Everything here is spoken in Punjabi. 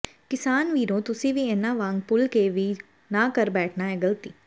ਕਿਸਾਨ ਵੀਰੋ ਤੁਸੀਂ ਵੀ ਇਨ੍ਹਾਂ ਵਾਂਗ ਭੁੱਲ ਕੇ ਵੀ ਨਾ ਕਰ ਬੈਠਣਾ ਇਹ ਗ਼ਲਤੀ